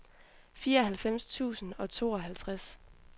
fireoghalvfems tusind og tooghalvtreds